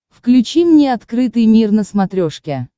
включи мне открытый мир на смотрешке